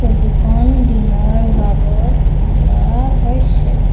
Photo খন দিনৰ ভাগত তোলা হৈছে।